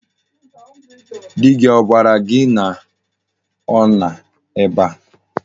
Di gi ogwara gi na o no ebe a?